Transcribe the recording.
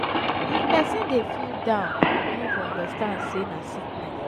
if pesin dey feel down pipo no go understand sey na sickness.